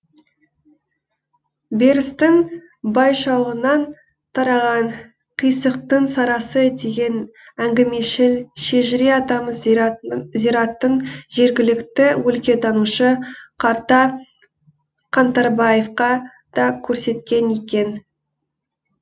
берістің байшуағынан тараған қисықтың сарысы деген әңгімешіл шежіре атамыз зираттың жергілікті өлкетанушы қарта қаңтарбаевқа да көрсеткен екен